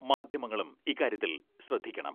മാധ്യമങ്ങളും ഇക്കാര്യത്തിൽ ശ്രദ്ധിക്കണം.